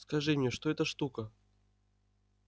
скажи мне что это шутка